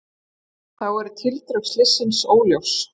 Þá eru tildrög slyssins óljós